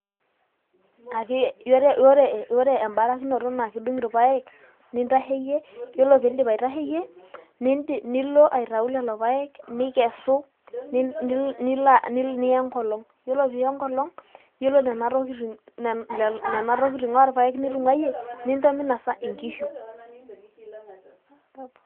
ake ore embarakinoto naa kidung irpaek nintaheyie yiolo piindip aitaheyie nilo aitau lelo paek nikesu nilo niya enkolong yilo piiya enkolong yiolo nena tokitin orpaek nitung'uayie nincho minosa inkihu.